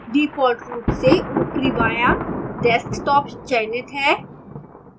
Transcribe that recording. default रूप से ऊपरी बायां desktop चयनित है